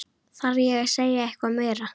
Þarf ég að segja eitthvað meira?